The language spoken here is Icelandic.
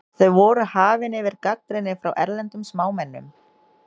Þau voru hafin yfir gagnrýni frá erlendum smámennum.